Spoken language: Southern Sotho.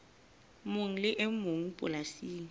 mong le e mong polasing